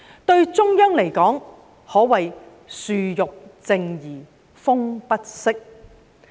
對中央來說，可謂樹欲靜而風不息。